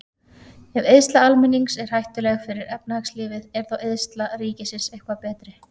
Ef eyðsla almennings er hættuleg fyrir efnahagslífið, er þá eyðsla ríkisins eitthvað betri?